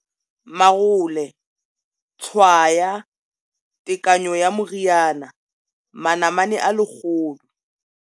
Marole, tshwaya, tekanyo ya moriana, manamane a 100.